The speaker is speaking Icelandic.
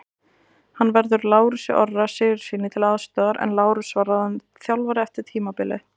Hann verður Lárusi Orra Sigurðssyni til aðstoðar en Lárus var ráðinn þjálfari eftir tímabilið.